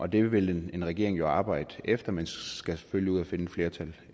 det vil en regering jo arbejde efter men den skal selvfølgelig ud og finde et flertal